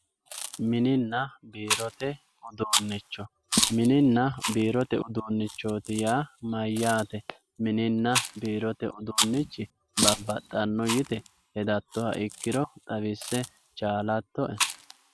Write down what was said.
Mininna biirote uduunicho, mininna biirote uduunichoti yaa mayyaate ,mininna biirote uduunchi baxxano yitto hedattoha ikkiro xawisse chalattoe.